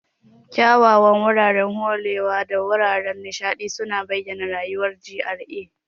Kyawawan wuraren kore da wuraren nishaɗi suna bayyana rayuwar GRA.